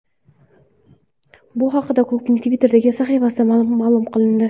Bu haqda klubning Twitter’dagi sahifasida ma’lum qilindi .